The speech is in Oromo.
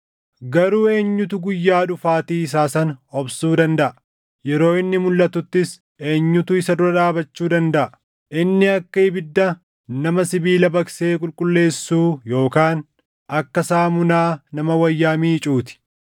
Garuu eenyutu guyyaa dhufaatii isaa sana obsuu dandaʼa? Yeroo inni mulʼatuttis eenyutu isa dura dhaabachuu dandaʼa? Inni akka ibidda nama sibiila baqsee qulqulleessuu yookaan akka saamunaa nama wayyaa miicuu ti.